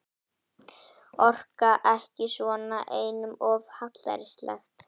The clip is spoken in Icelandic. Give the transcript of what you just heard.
Orka ekki svona, einum of hallærislegt.